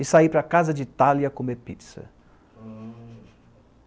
E sair para casa de Itália comer pizza. hm